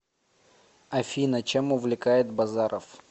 афина чем увлекает базаров